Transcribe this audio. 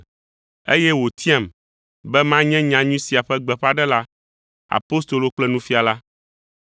Eye wòtiam be manye nyanyui sia ƒe gbeƒãɖela, apostolo kple nufiala.